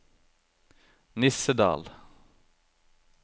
Nissedal